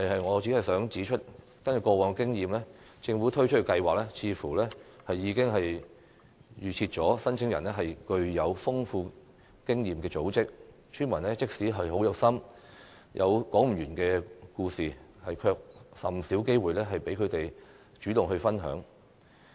我只想指出，根據過往經驗，政府推出計劃時似乎已經預設申請人是具有豐富經驗的組織，村民即使很有心，有說不完的故事，也甚少獲得機會讓他們主動分享。